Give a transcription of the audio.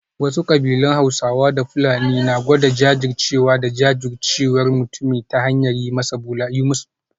Wasu kabilun Hausawa da Fulani na gwada jajircewa da jajircewar mutumin ta hanyar yi musu bulala